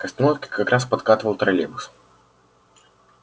к остановке как раз подкатывал троллейбус